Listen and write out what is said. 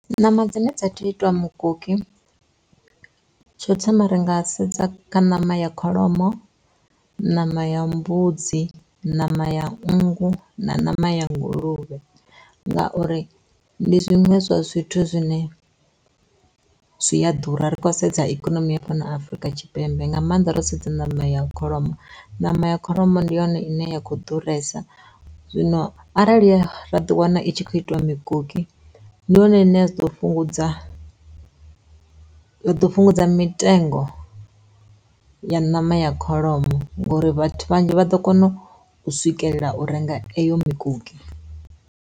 Ṋama dzine dza tea u itiwa mukoki, tsho thoma ri nga sedza kha ṋama ya kholomo, ṋama ya mbudzi, ṋama ya nngu na ṋama ya nguluvhe. Ngauri ndi zwiṅwe zwa zwithu zwine zwi a ḓura ri khou sedza ikonomi ya fhano Afrika Tshipembe nga maanḓa ro sedza ṋama ya kholomo ṋama ya kholomo ndi yone ine ya kho ḓuresa zwino arali ra ḓi wana i tshi khou itiwa mikoki ndi yone ine ya ḓo fhungudza fhungudza mitengo ya ṋama ya kholomo ngori vhathu vhanzhi vha ḓo kona u swikelela u renga eyo mikoki.